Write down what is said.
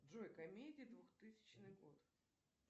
джой комедии двухтысячный год